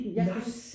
Nej